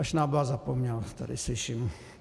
A Šnábla zapomněl, tady slyším.